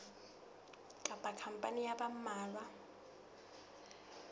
kapa khampani ya ba mmalwa